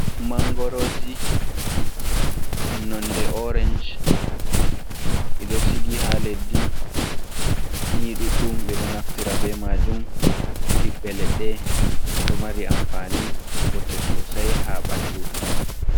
Mangoroji nonde orange ɓeɗo sigi ha leddi ni ɗuɗɗum ɓeɗo naftira be majum ɓiɓɓe leɗɗe ɗo mari amfani bote sosai ha bandu.